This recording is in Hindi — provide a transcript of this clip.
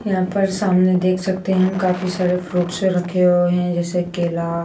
यहां पर सामने देख सकते हैं हम काफी सारे फ्रूटस रखे हुए हैं जैसे केला--